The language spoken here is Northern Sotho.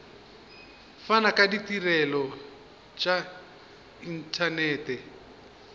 fana ka ditirelo tša inthanete